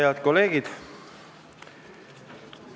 Head kolleegid!